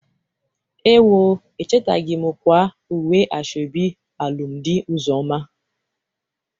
Ewo! Echeteghi m kwaa uwe asoebi alụmdị Ụzọma.